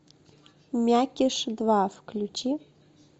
мякиш два включи